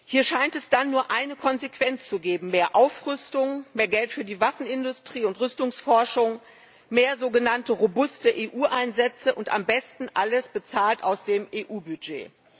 Hier scheint es dann nur eine Konsequenz zu geben mehr Aufrüstung, mehr Geld für die Waffenindustrie und Rüstungsforschung, mehr sogenannte robuste EU Einsätze und am besten alles bezahlt aus dem EU Budget.